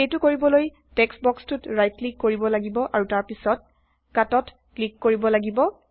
সেইটো কৰিবলৈ টেক্সট বক্সটোত ৰাইট ক্লিক কৰিব লাগিব আৰু তাৰ পাছ্ত কাট ত ক্লিক কৰিব লাগিব